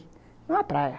Não a praia.